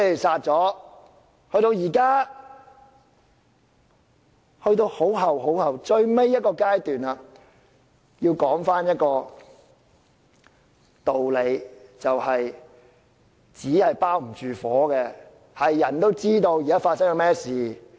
事到如今，已到了最後階段，我要說的道理是"紙包不住火"，人人都知道發生了甚麼事。